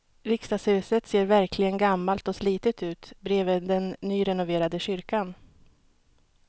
Riksdagshuset ser verkligen gammalt och slitet ut bredvid den nyrenoverade kyrkan.